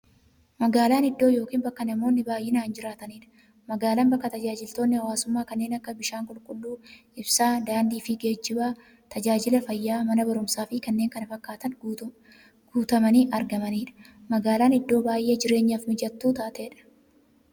Magaalan iddoo yookiin bakka namoonni baay'inaan jiraataniidha. Magaalan bakka taajajilootni hawwaasummaa kanneen akka; bishaan qulqulluu, ibsaa, daandiifi geejjiba, taajajila fayyaa, Mana baruumsaafi kanneen kana fakkatan guutamanii argamaniidha. Magaalan iddoo baay'ee jireenyaf mijattuu taateedha.